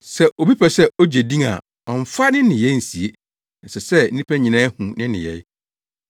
Sɛ obi pɛ sɛ ogye din a ɔmmfa ne nneyɛe nsie. Ɛsɛ sɛ ɔma nnipa nyinaa hu ne nneyɛe.”